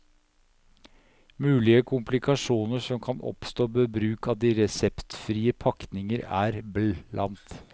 Mulige komplikasjoner som kan oppstå ved bruk av de reseptfrie pakningene er bl.